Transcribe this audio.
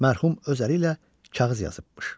Mərhum öz əli ilə kağız yazıbmış.